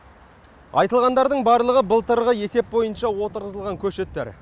айтылғандардың барлығы былтырғы есеп бойынша отырғызылған көшеттер